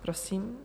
Prosím.